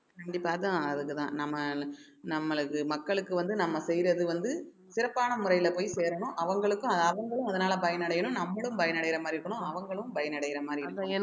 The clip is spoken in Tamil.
கண்டிப்பா அதான் அதுக்குதான் நம்ம நம்மளுக்கு மக்களுக்கு வந்து நம்ம செய்யறது வந்து சிறப்பான முறையில போய் சேரணும் அவங்களுக்கும் அவங்களும் அதனால பயனடையணும் நம்மளும் பயனடையற மாரி இருக்கணும் அவங்களும் பயனடையற மாரி இருக்கணும்